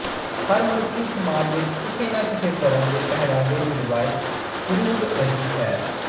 ਹਰ ਮਨੁੱਖੀ ਸਮਾਜ ਵਿੱਚ ਕਿਸੇ ਨਾ ਕਿਸੇ ਤਰ੍ਹਾਂ ਦੇ ਪਹਿਰਾਵੇ ਦੀ ਰਵਾਇਤ ਜਰੂਰ ਰਹੀ ਹੈ